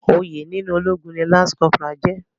Oyè nínú ológun ni lance corporal jẹ́.